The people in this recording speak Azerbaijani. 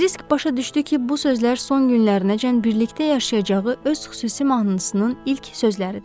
Kiris başa düşdü ki, bu sözlər son günlərinəcən birlikdə yaşayacağı öz xüsusi mahnısının ilk sözləridir.